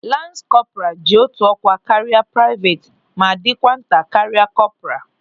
Lans kọpra ji otu ọkwa karịa praivet ma dịkwa nta karịa kọpra.